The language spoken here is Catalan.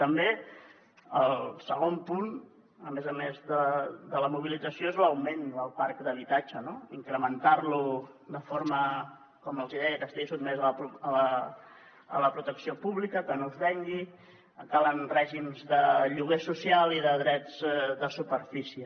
també el segon punt a més a més de la mobilització és l’augment del parc d’habitatge no incrementar lo de forma com els hi deia que estigui sotmès a la protecció pública que no es vengui calen règims de lloguer social i de drets de superfície